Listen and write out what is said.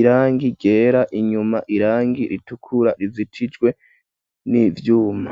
irangi ryera, inyuma irangi ritukura rizitijwe n'ivyuma.